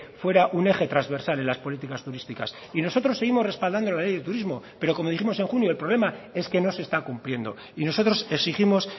fuera un eje trasversal en las políticas turísticas y nosotros seguimos respaldando la ley de turismo pero como dijimos en junio el problema es que no se está cumpliendo y nosotros exigimos